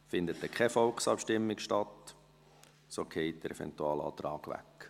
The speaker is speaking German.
Findet keine Volksabstimmung statt, so fällt der Eventualantrag dahin.